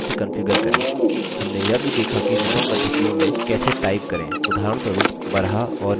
हमने यह भी देखा कि विभिन्न पद्धतियों में कैसे type करें उदाहरणस्वरूप baraha और nudi